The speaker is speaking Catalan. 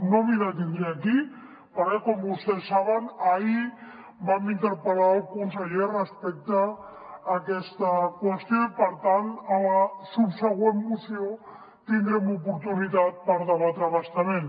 no m’hi detindré aquí perquè com vostès saben ahir vam interpel·lar el conseller respecte a aquesta qüestió i per tant a la subsegüent moció tindrem oportunitat per debatre ho a bastament